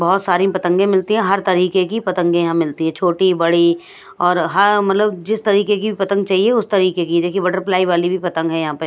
बहुत सारी पतंगे मिलती हैं हर तरीके की पतंगे यहां मिलती है छोटी बड़ी और हाँ मतलब जिस तरीके की पतंग चाहिए उस तरीके की देखिए बटरफ्लाई वाली भी पतंग है यहां पे --